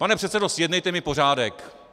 Pane předsedo, zjednejte mi pořádek!